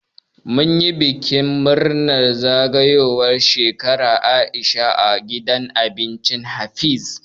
Mun yi bikin murnar zagayowar Shekara na Aisha a gidan abincin Habees.